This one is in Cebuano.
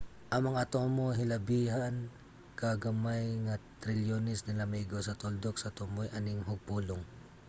ang mga atomo hilabihan ka gamay nga trilyones nila maigo sa tuldok sa tumoy aning hugpulong